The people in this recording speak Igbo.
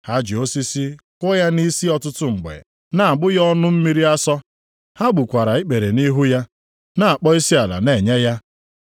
Ha ji osisi kụọ ya nʼisi ọtụtụ mgbe, na-agbụ ya ọnụ mmiri asọ. Ha gbukwara ikpere nʼihu ya, na-akpọ isiala na-enye ya.